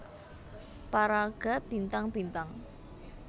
Paraga Bintang Bintang